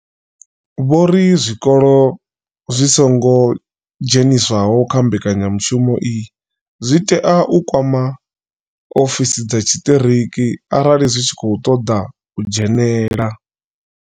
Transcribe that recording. Vho ri zwikolo zwi songo dzheniswaho kha mbekanyamushumo iyi zwi tea u kwama ofisi dza tshiṱiriki arali zwi tshi khou ṱoḓa u dzhenela.